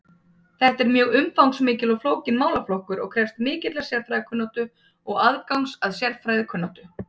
Þetta er mjög umfangsmikill og flókinn málaflokkur og krefst mikillar sérfræðikunnáttu eða aðgangs að sérfræðikunnáttu.